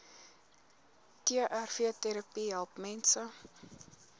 trvterapie help mense